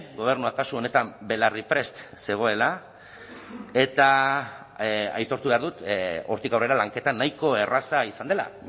gobernuak kasu honetan belarri prest zegoela eta aitortu behar dut hortik aurrera lanketa nahiko erraza izan dela